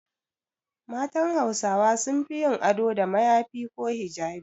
Matan Hausawa sun fi yin ado da mayafi ko hijabi.